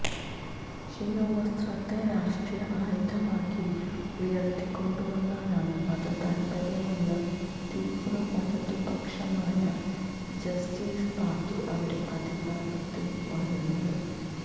ശിരോവസ്ത്രത്തെ രാഷ്ട്രീയ ആയുധമാക്കി ഉയര്ത്തിക്കൊണ്ടുവന്നാണ് മതതാല്പര്യമുള്ള തീവ്ര വലതുപക്ഷമായ ജസ്റ്റിസ് പാര്ട്ടി അവിടെ അധികാരത്തില് വരുന്നത്